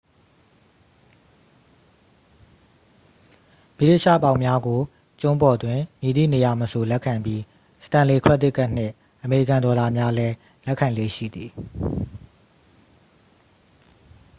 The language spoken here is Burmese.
ဗြိတိသျှပေါင်များကို ကျွန်းပေါ်တွင် မည်သည့်နေရာမဆိုလက်ခံပြီး စတန်လေ ခရက်ဒစ်ကတ်နှင့် အမေရိကန်ဒေါ်လာများလဲ လက်ခံလေ့ရှိသည်